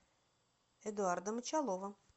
эдуарда мочалова